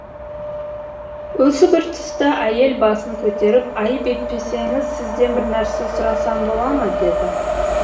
осы бір тұста әйел басын көтеріп айып етпесеңіз сізден бір нәрсе сұрасам бола ма деді